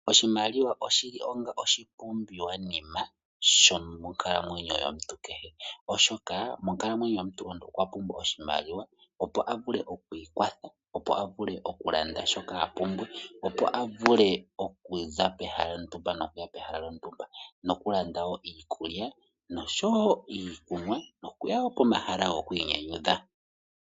Oshimaliwa oshi li onga oshipumbiwanima sho monkalamweyo yomuntu kehe, oshoka monkalamweyo yomuntu omuntu okwa pumbwa oshimaliwa, opo a vule oku ikwatha, opo a vule okulanda shoka a pumbwa, opo a vule okuza pehala lontumba nokuya pehala lontumba nokulanda wo iikulya noshowo iikunwa. Nokuya wo pomahala goku inyanyudha m.